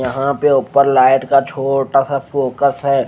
यहाँ पे ऊपर लाईट का छोटासा फोकस है।